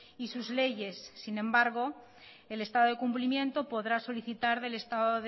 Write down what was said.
y sus leyes sin embargo el estado de cumplimiento podrá solicitar del estado